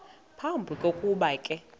phambi kokuba ke